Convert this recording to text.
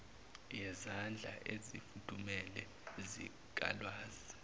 yezandla ezifudumele zikalwazi